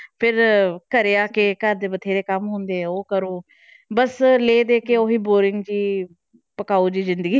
ਫਿਰ ਘਰੇ ਆ ਕੇ ਘਰ ਦੇ ਬਥੇਰੇ ਕੰਮ ਹੁੰਦੇ ਹੈ ਉਹ ਕਰੋ ਬਸ ਲੈ ਦੇ ਕੇ ਉਹੀ boring ਜਿਹੀ ਪਕਾਊ ਜਿਹੀ ਜ਼ਿੰਦਗੀ।